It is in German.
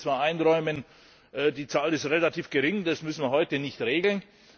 Man könnte zwar einräumen Die Zahl ist relativ gering, das müssen wir heute nicht regeln.